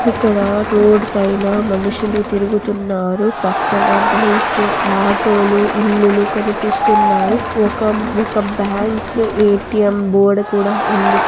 ఇక్కడ రోడ్ పైన మనుషులు తిరుగుతున్నారు పక్కన బైక్ ఆటోలు ఇల్లుల్లు కనిపిస్తున్నాయి ఒక-ఒక బ్యాంకు ఏ_టి_ఎమ్ బోర్డు కూడా ఉంది.